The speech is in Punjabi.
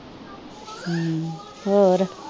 ਹਮ ਹੋਰ